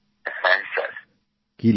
হ্যাঁ স্যার